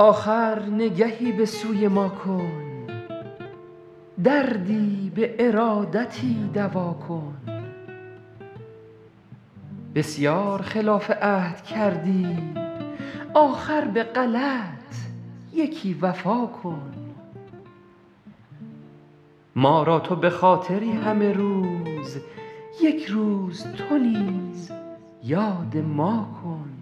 آخر نگهی به سوی ما کن دردی به ارادتی دوا کن بسیار خلاف عهد کردی آخر به غلط یکی وفا کن ما را تو به خاطری همه روز یک روز تو نیز یاد ما کن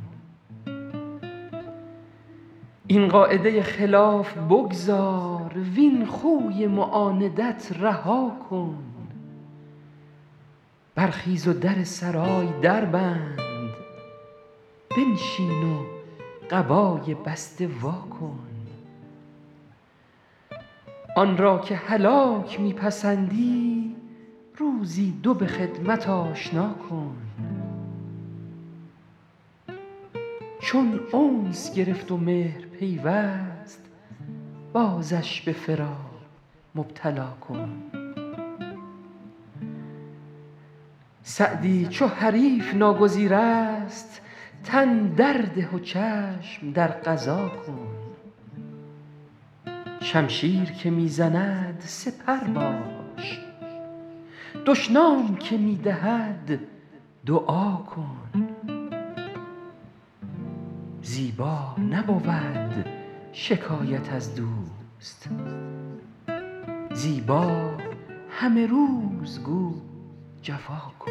این قاعده خلاف بگذار وین خوی معاندت رها کن برخیز و در سرای در بند بنشین و قبای بسته وا کن آن را که هلاک می پسندی روزی دو به خدمت آشنا کن چون انس گرفت و مهر پیوست بازش به فراق مبتلا کن سعدی چو حریف ناگزیر است تن در ده و چشم در قضا کن شمشیر که می زند سپر باش دشنام که می دهد دعا کن زیبا نبود شکایت از دوست زیبا همه روز گو جفا کن